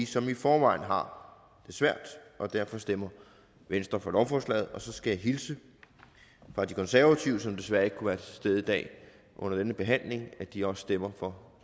som i forvejen har det svært og derfor stemmer venstre for lovforslaget så skal jeg hilse fra de konservative som desværre ikke kunne være til stede i dag under denne behandling og at de også stemmer for